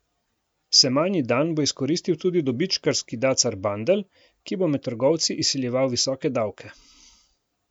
Semanji dan bo izkoristil tudi dobičkarski dacar Bandelj, ki bo med trgovci izsiljeval visoke davke.